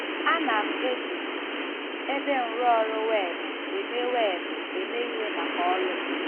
Ana m eji ebe nrụọrụ weebụ eme weebụ eme ihe maka ọrụ m.